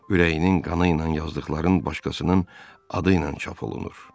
Ürəyinin qanı ilə yazdıqların başqasının adı ilə çap olunur.